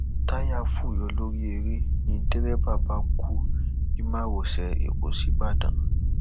táyà fọ yọ lórí ère ni dẹrẹbà bá kú ní márosẹ ẹkọ sìbàdàn